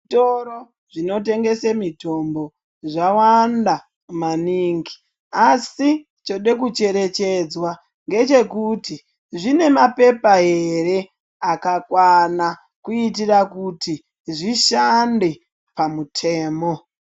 Zvitoro zvinotengese mitombo, zvawanda maningi asi chode kucherechedzwa ngechekuti zvine maphepha ere akakwana kuitira kuti zvishande pamutemo.